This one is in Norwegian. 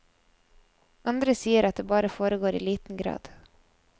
Andre sier at det bare foregår i liten grad.